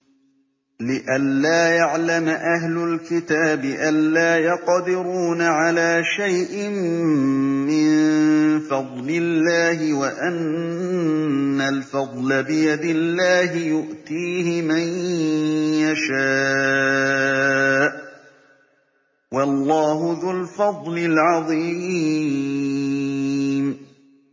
لِّئَلَّا يَعْلَمَ أَهْلُ الْكِتَابِ أَلَّا يَقْدِرُونَ عَلَىٰ شَيْءٍ مِّن فَضْلِ اللَّهِ ۙ وَأَنَّ الْفَضْلَ بِيَدِ اللَّهِ يُؤْتِيهِ مَن يَشَاءُ ۚ وَاللَّهُ ذُو الْفَضْلِ الْعَظِيمِ